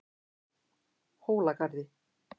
Hólagarði